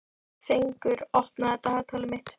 Fengur, opnaðu dagatalið mitt.